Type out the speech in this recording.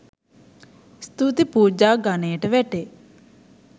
ස්තුති පූජා ගණයට වැටේ.